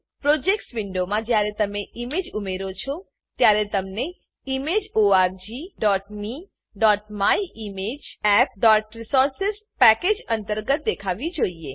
projects projects વિન્ડોમાં જ્યારે તમે ઈમેજ ઉમેરો છો ત્યારે તમને ઈમેજ orgmemyimageappરિસોર્સિસ પેકેજ અંતર્ગત દેખાવી જોઈએ